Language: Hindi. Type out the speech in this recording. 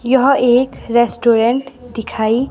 यह एक रेस्टोरे दिखाई--